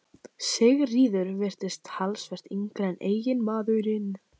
Sigríður virtist talsvert yngri en eiginmaðurinn.